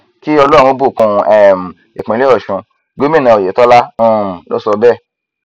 kí ọlọrun bùkún um ìpínlẹ ọsùn gómìnà oyetola um ló sọ bẹẹ